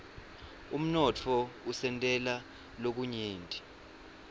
umnotfo usentela lokunyenti